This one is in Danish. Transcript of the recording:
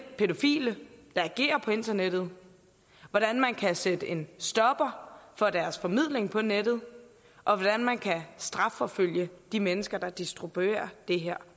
pædofile der agerer på internettet hvordan man kan sætte en stopper for deres formidling på nettet og hvordan man kan strafforfølge de mennesker der distribuerer det her